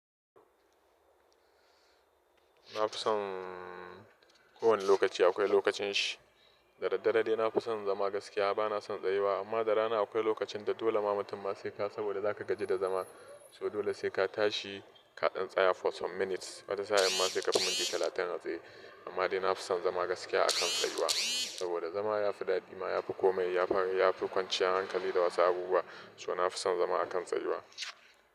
Na fi son kowane lokaci akwai lokacin shi. Da daddare dai na fi son zama gaskiya ba na son tsayuwa amma da rana akwai lokacin da dole ma mutum ma sai ka saboda za ka gaji da zama so dole sai ka tashi ka dan tsaya for some minutes. Wata za'ayi ma sai ka fi mintii talatin a tsaye. Amma dai na fi son zama gaskiya akan tsayuwa saboda zama ya fi daɗi ma ya fi komai ya fi kwanciya hankali da wasu abubuwa. So na fi son zama akan tsayuwa.